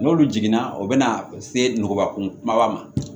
N'olu jiginna o bɛ na se nkɔban kun kumaba ma